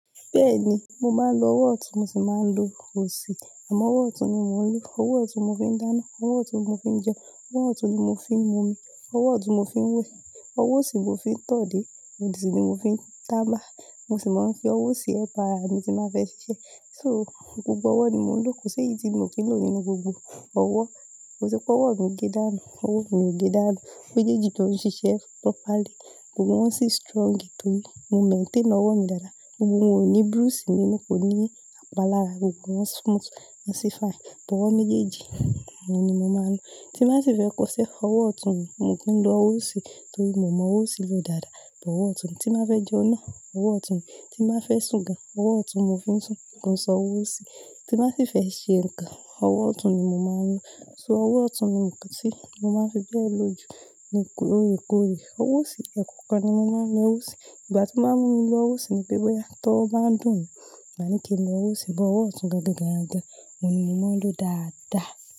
Bẹ́ẹ̀ni, mo máa ń lo ọwọ́ ọ̀tún mo sì máa ń lo òsì, àmọ́ ọwọ́ ọ̀tún ni mo ń lò. Ọwọ́ ọ̀tún mo fi ń dáná, ọwọ́ ọ̀tún mo fi ń jẹun, ọwọ́ ọ̀tún ni mo fi ń mu omi, ọwọ́ ọ̀tún mo fi ń wẹ̀, ọwọ́ òsì mo fi ń tọ̀ dé, ohun sì ni mo fi ń taba. Mo sì máa ń fi ọwọ́ òsì ẹ pa ara mi tí máa fẹ́ ṣiṣẹ́. So gbogbo ọwọ́ ni mò ń lò, kò sí èyí tí mo kì í lò nínú gbogbo ọwọ́. Mo ti pé ọwọ́ mi gé dánu, ọwọ́ mi gé dánu. Mejeeji tó ń ṣiṣẹ́ properly, gbogbo wọn sì strong torí mo maintain ọwọ́ mi dáadáa. Gbogbo wọn ò ní bruise nínú, kò ní apalára, gbogbo wọn smooth, wọ́n sì fine. T'owọ́ méjèèjì oun ni mo máa ń lò. Tí n ba sì fẹ́ kosẹ́, ọwọ́ ọ̀tún mi, mo ki ń lo ọwọ́ òsì torí mo mọ ọwọ́ òsì lò dáadáa. Ọwọ́ ọ̀tún mi tí n bá fẹ́ jẹun náà, ọwọ́ ọ̀tún mi. Tí n bá fẹ́ sùn gan, ọwọ́ ọ̀tún mo fi ń sùn, kò n se ọwọ́ òsì. Tí n bá sì fẹ́ ṣe nǹkan, ọwọ́ ọ̀tún ni mo máa ń lò. So ọwọ́ ọ̀tún ni nǹkan tí mo máa ń fi bẹ́ẹ̀ lò jù lóorekoore. Ọwọ́ òsì, ẹ̀kọ̀okan ni mo máa ń lo ọwọ́ òsì. Ìgbà tí n màá mú mi lo ọwọ́ òsì ni pé bóyá t'owo bá ń dùn mi, màá ní kí n lo ọwọ́ òsì, but ọwọ́ ọ̀tún gan gan gan gan, òun ni mò ń lò dáadáa.